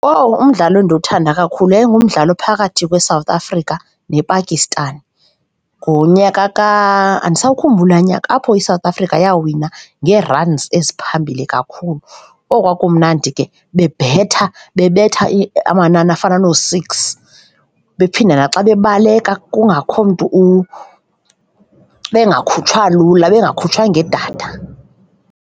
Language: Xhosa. Owu! Umdlalo endiwuthanda kakhulu yayi ngumdlalo ophakathi kweSouth Africa nePakistan ngonyaka . Andisawukhumbuli laa nyaka apho iSouth Africa yawina ngee-runs ezaziphambili kakhulu. Owu, kwakumnandi ke bebetha, bebetha amanani afana noo-six, bephinde naxa bebaleka kungakho mntu bengakhutshwa lula, bengakhutshwa ngedada.